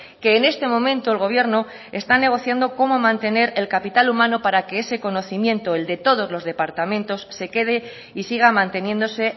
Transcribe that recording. que en este momento el gobierno está negociando cómo mantener el capital humano para que ese conocimiento el de todos los departamentos se quede y siga manteniéndose